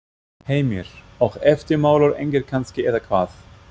Heimir: Og eftirmálar engir kannski eða hvað?